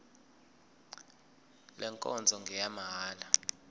le nkonzo ngeyamahala